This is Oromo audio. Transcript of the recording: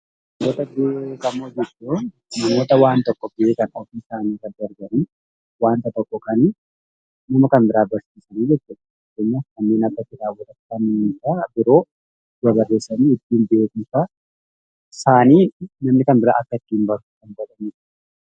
Hoggantoota beekamoo jechuun namoota ofii isaanii irra darbanii waan tokko beekanii fi nama Kan biraa kan barsiisuu jechuudha. Fakkeenyaaf kanneen akka kitaabota biroo barressuun beekumsa isaanii namni akkka argatuuf jechuudha.